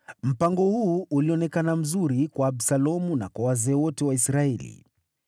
Mpango huu ulionekana mzuri kwa Absalomu na kwa wazee wote wa Israeli.